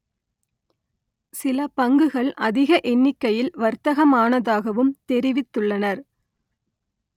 சில பங்குகள் அதிக எண்ணிக்கையில் வர்த்தகம் ஆனதாகவும் தெரிவித்துள்ளனர்